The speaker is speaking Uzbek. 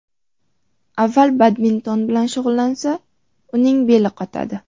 Avval badminton bilan shug‘ullansa, uning beli qotadi.